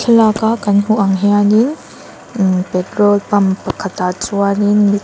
thlalak a kan hmuh ang hian in immh petrol pump pakhatah chuan in--